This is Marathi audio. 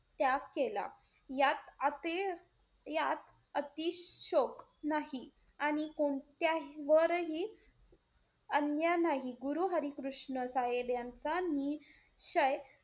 त्याग केला, यात अति~ यात अतिशोक नाही आणि कोणत्या वरही अन्य नाही. गुरु हरी कृष्ण साहेब यांचा नि श्चय,